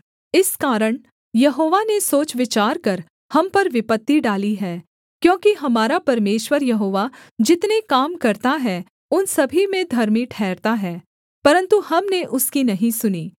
इस कारण यहोवा ने सोच विचार कर हम पर विपत्ति डाली है क्योंकि हमारा परमेश्वर यहोवा जितने काम करता है उन सभी में धर्मी ठहरता है परन्तु हमने उसकी नहीं सुनी